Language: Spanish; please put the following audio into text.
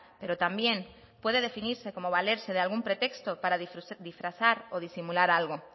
pero también puede definirse como valerse de algún pretexto para disfrazar o disimular algo